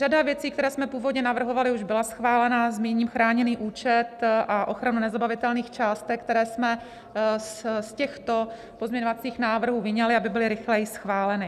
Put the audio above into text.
Řada věcí, které jsme původně navrhovali, už byla schválena, zmíním chráněný účet a ochranu nezabavitelných částek, které jsme z těchto pozměňovacích návrhů vyňali, aby byly rychleji schváleny.